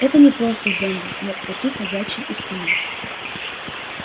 это не просто зомби мертвяки ходячие из кино